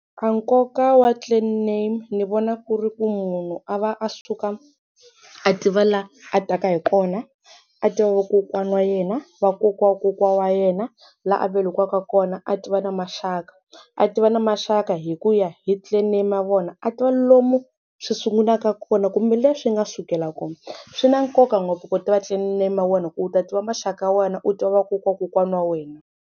A nkoka wa clan name ni vona ku ri ku munhu a va a suka a tiva laha a taka hi kona a tiva va kokwana wa yena va kokwa wa kokwana wa yena laha a velekiwaka kona a tiva na maxaka a tiva na maxaka hi ku ya hi clan name ya vona a tiva lomu swi sungulaka kona kumbe leswi nga sukela kona swi na nkoka ngopfu ku tiva clan name ya wena hi ku u ta tiva maxaka ya wena u tiva va kokwa wa kokwana wa wena.